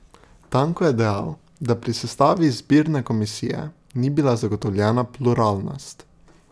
Tanko je dejal, da pri sestavi izbirne komisije ni bila zagotovljena pluralnost.